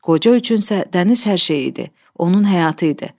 Qoca üçün isə dəniz hər şey idi, onun həyatı idi.